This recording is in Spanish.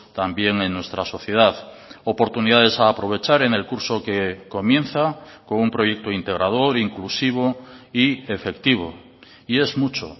también en nuestra sociedad oportunidades a aprovechar en el curso que comienza con un proyecto integrador inclusivo y efectivo y es mucho